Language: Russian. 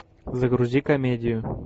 загрузи комедию